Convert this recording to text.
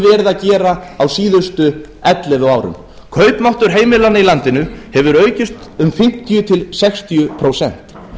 verið að gera á síðustu ellefu árum kaupmáttur heimilanna í landinu hefur aukist um fimmtíu til sextíu prósent